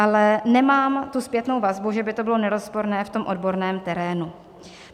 Ale nemám tu zpětnou vazbu, že by to bylo nerozporné, v tom odborném terénu.